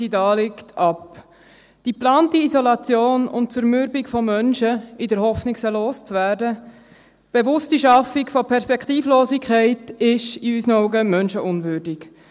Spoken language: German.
Die geplante Isolation und Zermürbung von Menschen, in der Hoffnung, sie loszuwerden, die bewusste Schaffung von Perspektivlosigkeit ist in unseren Augen menschenunwürdig.